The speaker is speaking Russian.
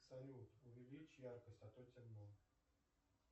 салют увеличь яркость а то темно